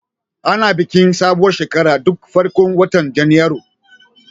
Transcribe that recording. Ana bikin sabuwar shekara duk farkon watan Janairu.